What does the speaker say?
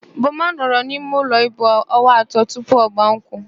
Boma nọrọ n'imeụlọ ibu onwa atọ tupu ọgbaa nkwụ.